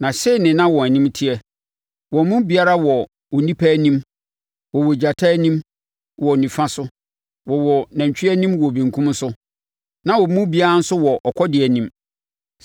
Na sei na wɔn anim teteɛ: Wɔn mu biara wɔ onipa anim, wɔwɔ gyata anim wɔ nifa so, wɔwɔ nantwie anim wɔ benkum so; na wɔn mu biara nso wɔ ɔkɔdeɛ anim.